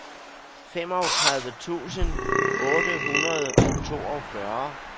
femogtredive tusind otte hundrede og toogfyrre